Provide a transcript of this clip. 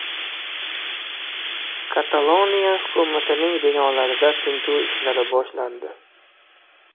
Kataloniya hukumatining binolarida tintuv ishlari boshlandi.